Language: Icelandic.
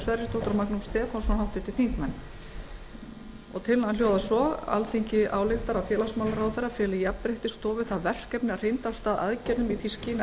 sverrisdóttir og magnús stefánsson alþingi ályktar að félagsmálaráðherra feli jafnréttisstofu það verkefni að hrinda af stað aðgerðum í því skyni að